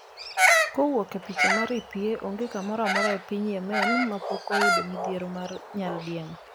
kowuok e picha mar EPA, Onge kamoramora e piny Yemen ma pok oyudo midhiero mar nyaldiema